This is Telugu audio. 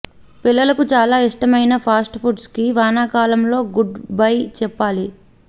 పిల్లలకు చాలా ఇష్టమైన ఫాస్ట్ ఫుడ్ కి వానాకాలంలో గుడ్ బై చెప్పాలి